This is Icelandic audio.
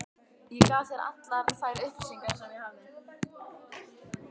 Ég gaf þér allar þær upplýsingar, sem ég hafði.